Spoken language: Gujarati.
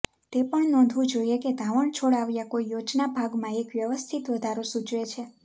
તે પણ નોંધવું જોઇએ કે ધાવણ છોડાવ્યા કોઇ યોજના ભાગમાં એક વ્યવસ્થિત વધારો સૂચવે છે